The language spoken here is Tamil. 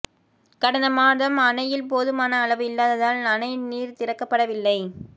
கடந்த மாதம் அணையில் போதுமான அளவு இல்லாததால் அணை நீர் திறக்கப்படவில்லை